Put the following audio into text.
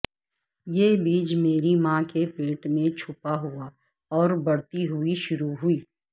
یہ بیج میری ماں کے پیٹ میں چھپا ہوا اور بڑھتی ہوئی شروع ہوئی